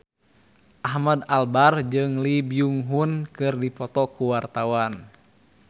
Ahmad Albar jeung Lee Byung Hun keur dipoto ku wartawan